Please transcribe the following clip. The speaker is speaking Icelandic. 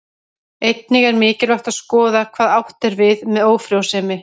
Einnig er mikilvægt að skoða hvað átt er við með ófrjósemi.